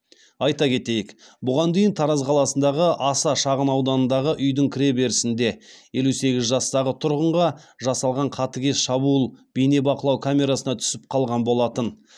айта кетейік бұған дейін тараз қаласындағы аса шағынауданындағы үйдің кіреберісінде елу сегіз жастағы тұрғынға жасалған қатыгез шабуыл бейнебақылау камерасына түсіп қалған болатын